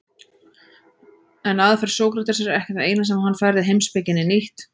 En aðferð Sókratesar er ekki það eina sem hann færði heimspekinni nýtt.